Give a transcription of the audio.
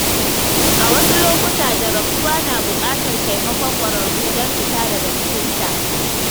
A wasu lokuta, jarabtuwa na buƙatar taimakon ƙwararru don fita daga cikinta.